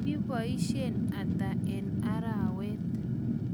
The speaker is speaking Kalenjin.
nboisien ata eng' arawet?